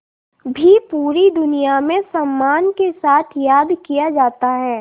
भी पूरी दुनिया में सम्मान के साथ याद किया जाता है